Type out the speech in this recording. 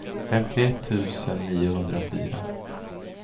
femtioett tusen niohundrafyra